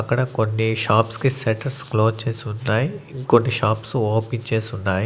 అక్కడ కొన్ని షాప్స్ కి సెట్టర్స్ క్లోజ్ చేసి ఉన్నాయ్ ఇంకొన్ని షాప్స్ ఓపెన్ చేసి ఉన్నాయ్.